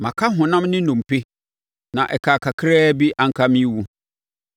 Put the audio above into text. Maka honam ne nnompe, na ɛkaa kakraa bi, anka merewu.